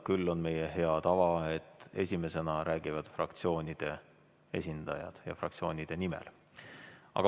Küll on meie hea tava, et esimesena räägivad fraktsioonide esindajad fraktsioonide nimel.